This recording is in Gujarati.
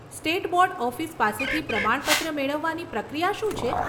સ્ટેટ બોર્ડ ઓફિસ પાસેથી પ્રમાણપત્ર મેળવવાની પ્રક્રિયા શું છે?